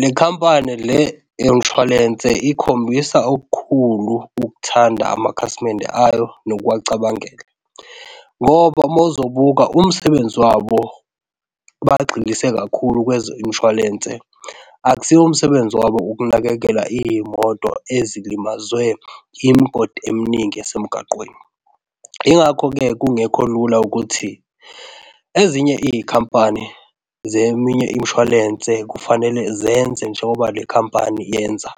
Le khampani le eyomshwalense ikhombisa okukhulu ukuthanda amakhasimende ayo nokuwacabangela. Ngoba uma uzobuka umsebenzi wabo, bagxilise kakhulu kweze umshwalense, akusiwo umsebenzi wabo ukunakekela izimoto ezilimazwe imigodi eminingi esemgaqweni. Yingakho-ke kungekho lula ukuthi ezinye izikampani zeminye imishwalense kufanele zenze njengoba le khampani yenza